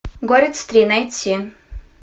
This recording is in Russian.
горец три найти